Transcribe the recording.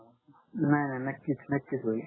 नाही नाही नक्कीच नक्कीच होईल